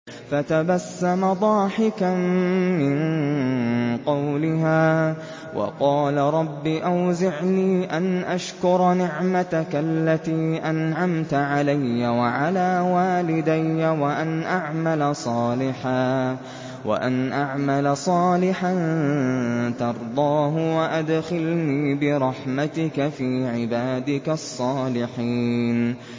فَتَبَسَّمَ ضَاحِكًا مِّن قَوْلِهَا وَقَالَ رَبِّ أَوْزِعْنِي أَنْ أَشْكُرَ نِعْمَتَكَ الَّتِي أَنْعَمْتَ عَلَيَّ وَعَلَىٰ وَالِدَيَّ وَأَنْ أَعْمَلَ صَالِحًا تَرْضَاهُ وَأَدْخِلْنِي بِرَحْمَتِكَ فِي عِبَادِكَ الصَّالِحِينَ